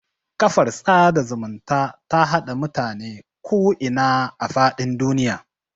Kafar sada zumunta ta haɗa mutane ku ina da faɗin duniya